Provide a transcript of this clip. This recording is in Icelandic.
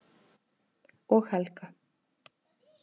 Og Helga.